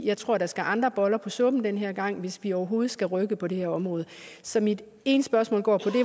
jeg tror der skal andre boller på suppen den her gang hvis vi overhovedet skal rykke på det her område så mit ene spørgsmål går på